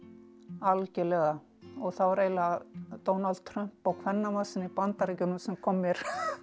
algjörlega það var eiginlega Donald Trump og kvenna marsinn í Bandaríkjunum sem kom mér